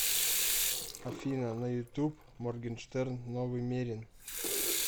афина на ютуб моргенштерн новый мерин